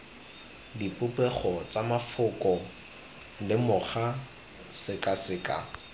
dipopego tsa mafoko lemoga sekaseka